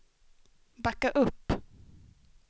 backa upp